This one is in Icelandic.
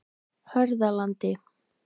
Hörðalandi